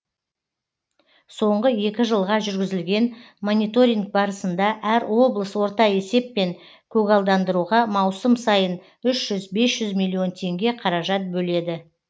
соңғы екі жылға жүргізілген мониторинг барысында әр облыс орта есеппен көгалдандыруға маусым сайын үш жүз бес жүз миллион теңге қаражат бөледі